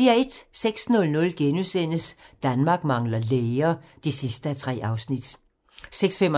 06:00: Danmark mangler læger (3:3)* 06:35: